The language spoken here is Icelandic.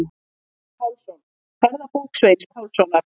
Sveinn Pálsson: Ferðabók Sveins Pálssonar.